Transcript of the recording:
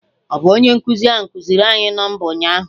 Ọ bụ onye nkụzi ahụ kụziiri anyị nọmba ụnyaahụ?